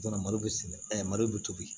Malo bɛ sɛnɛ malo bɛ tobi